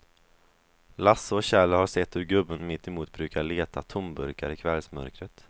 Lasse och Kjell har sett hur gubben mittemot brukar leta tomburkar i kvällsmörkret.